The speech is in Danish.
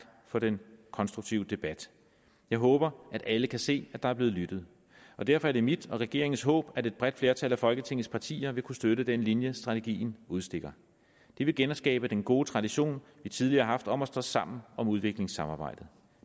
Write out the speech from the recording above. for den konstruktive debat jeg håber at alle kan se at der er blevet lyttet og derfor er det mit og regeringens håb at et bredt flertal af folketingets partier vil kunne støtte den linje strategien udstikker det vil genskabe den gode tradition vi tidligere har haft om at stå sammen om udviklingssamarbejdet